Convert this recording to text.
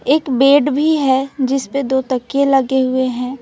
एक बेड भी है जिसपे दो तकिए लगे हुए हैं।